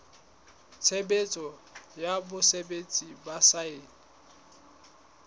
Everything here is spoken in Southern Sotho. tshebetso ya botsebi ba saense